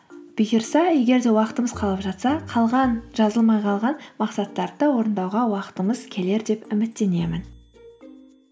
бұйырса егер де уақытымыз қалып жатса қалған жазылмай қалған мақсаттарды да орындауға уақытымыз келер деп үміттенемін